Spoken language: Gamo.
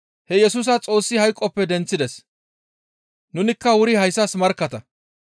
He Yesusa Xoossi hayqoppe denththides; nunikka wuri hayssas markkatta.